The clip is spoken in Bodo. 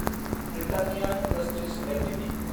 Britannia industries Ltd